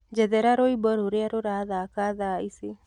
njethera rwĩmbo rũrĩa rurathaka thaa ĩcĩ